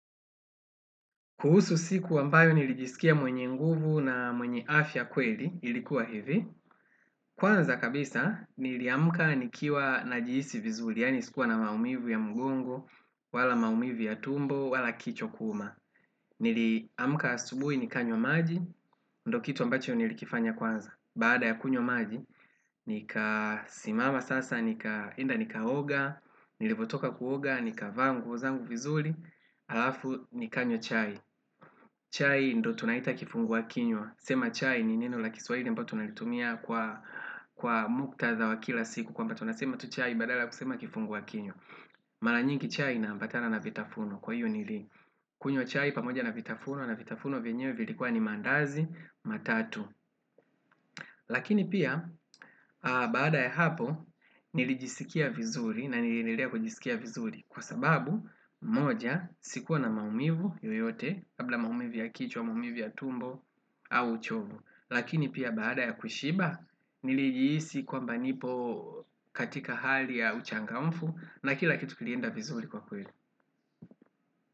Kuhusu siku ambayo nilijisikia mwenye nguvu na mwenye afya kweli ilikuwa hivi kwanza kabisa niliamka nikiwa najihisi vizuri yaani sikuwa na maumivu ya mgongo, wala maumivu ya tumbo, wala kichwa kuuma. Niliamka asubuhi nikanywa maji, ndo kitu ambacho nilikifanya kwanza baada ya kunywa maji nikasimama sasa nikaenda nikaoga, nilivyotoka kuoga, nikavaa nguo zangu vizuri alafu nikanywa chai, chai ndo tunaita kifungua kinywa, sema chai ni neno la kiswahili ambalo tunalitumia kwa muktadha wa kila siku kwamba tunasema tu chai badala ya kusema kifungua kinywa, mara nyingi chai inaambatana na vitafunwa kwa hiyo kunywa chai pamoja na vitafunwa na vitafunwa vyenyewe vilikuwa ni maandazi matatu lakini pia baada ya hapo nilijisikia vizuri na niliendelea kujisikia vizuri kwa sababu moja sikuwa na maumivu yoyote labla maumivu ya kichwa, maumivu ya tumbo au uchovu. Lakini pia baada ya kushiba nilijihisi kwamba nipo katika hali ya uchangamfu na kila kitu kilienda vizuri kwa kweli.